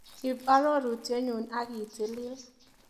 Ip arorutienyu akitilil.